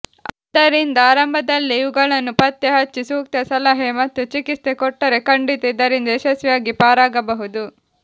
ಆದ್ದರಿಂದ ಆರಂಭದಲ್ಲೇ ಇವುಗಳನ್ನು ಪತ್ತೆಹಚ್ಚಿ ಸೂಕ್ತ ಸಲಹೆ ಮತ್ತು ಚಿಕಿತ್ಸೆ ಕೊಟ್ಟರೆ ಖಂಡಿತ ಇದರಿಂದ ಯಶಸ್ವಿಯಾಗಿ ಪಾರಾಗಬಹುದು